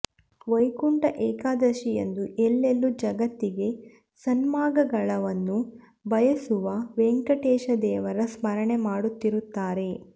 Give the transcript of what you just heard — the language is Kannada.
ವೈಕುಂಠ ಏಕಾದಶಿಯಂದು ಎಲ್ಲೆಲ್ಲೂ ಜಗತ್ತಿಗೆ ಸನ್ಮಂಗಳವನ್ನು ಬಯಸುವ ವೆಂಕಟೇಶ ದೇವರ ಸ್ಮರಣೆ ಮಾಡುತ್ತಿರುತ್ತಾರೆ